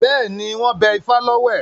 Bẹ́ẹ̀ni, wọ́n bẹ ifá lọ́wẹ̀.